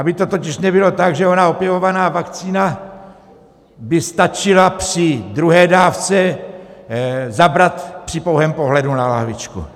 Aby to totiž nebylo tak, že ona opěvovaná vakcína by stačila při druhé dávce zabrat při pouhém pohledu na lahvičku.